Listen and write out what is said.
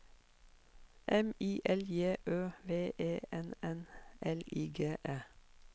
M I L J Ø V E N N L I G E